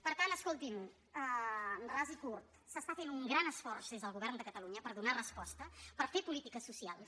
per tant escoltin ras i curt s’està fent un gran esforç des del govern de catalunya per donar resposta per fer polítiques socials